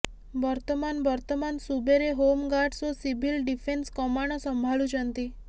ବର୍ତ୍ତମାନ ବର୍ତ୍ତମାନ ସୁବେ ରେ ହୋମ ଗାର୍ଡସ ଓ ସିଭିଲ୍ ଡିଫେନ୍ସ କମାଣ ସମ୍ଭାଳୁଛନ୍ତି